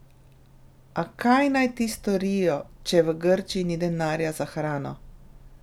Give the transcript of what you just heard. A kaj naj ti storijo, če v Grčiji ni denarja za hrano?